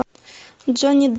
джонни